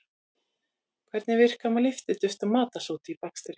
Hvernig virka lyftiduft og matarsódi í bakstri?